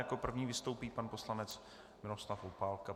Jako první vystoupí pan poslanec Miroslav Opálka.